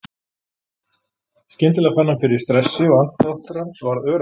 Skyndilega fann hann fyrir stressi og andardráttur hans varð örari.